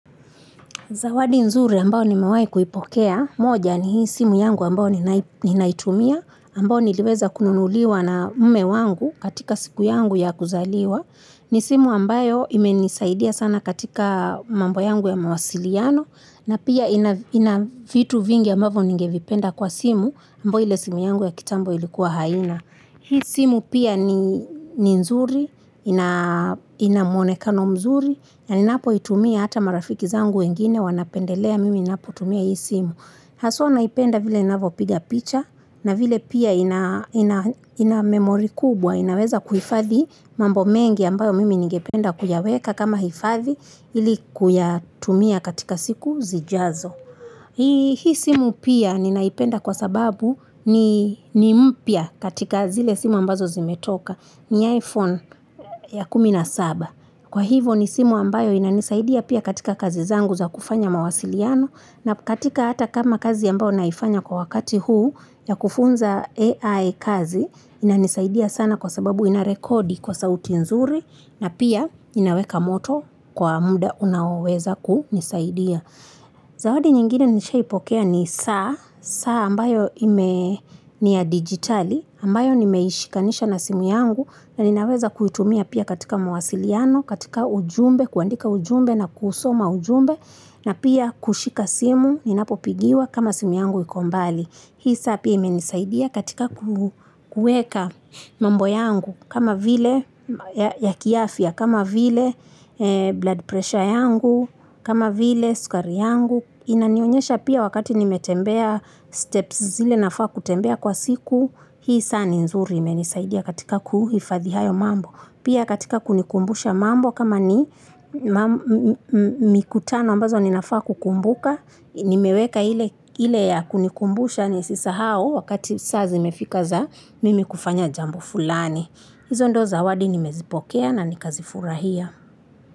Zawadi nzuri ambao nimewai kuipokea. Moja ni hii simu yangu ambayo ninaitumia, ambao niliweza kununuliwa na mume wangu katika siku yangu ya kuzaliwa. Ni simu ambayo imenisaidia sana katika mambo yangu ya mawasiliano na pia ina vitu vingi ambavyo ningevipenda kwa simu ambao ile simu yangu ya kitambo ilikuwa haina. Hii simu pia ni nzuri, ina mwonekano mzuri, na ninapoitumia hata marafiki zangu wengine wanapendelea, mimi ninapotumia hii simu. Haswa naipenda vile inavyopiga picha, na vile pia ina memory kubwa, inaweza kuhifadhi mambo mengi ambayo mimi ningependa kuyaweka kama hifadhi ili kuyatumia katika siku zijazo. Hii simu pia ninaipenda kwa sababu ni mpya katika zile simu ambazo zimetoka ni iPhone ya kumi na saba. Kwa hivo ni simu ambayo inanisaidia pia katika kazi zangu za kufanya mawasiliano na katika hata kama kazi ambayo naifanya kwa wakati huu ya kufunza AI kazi inanisaidia sana kwa sababu inarekodi kwa sauti nzuri na pia inaweka moto kwa muda unaoweza kunisaidia. Zawadi nyingine nishaipokea ni saa, saa ambayo ni ya digitali, ambayo nimeishikanisha na simu yangu na ninaweza kuitumia pia katika mawasiliano, katika ujumbe, kuandika ujumbe na kusoma ujumbe na pia kushika simu, ninapopigiwa kama simu yangu iko mbali. Hii saa pia imenisaidia katika kuweka mambo yangu, kama vile ya kiafya, kama vile blood pressure yangu, kama vile sukari yangu. Inanionyesha pia wakati nimetembea steps zile nafaa kutembea kwa siku, hii saa ni nzuri imenisaidia katika kuhifadhi hayo mambo. Pia katika kunikumbusha mambo kama ni mikutano ambazo ninafaa kukumbuka, nimeweka ile ya kunikumbusha nisisahau wakati saa zimefika za mimi kufanya jambo fulani. Hizo ndo zawadi nimezipokea na nikazifurahia.